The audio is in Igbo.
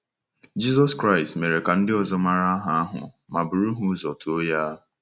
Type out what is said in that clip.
Jizọs Kraịst mere ka ndị ọzọ mara aha ahụ ma bụrụ ha ụzọ too ya.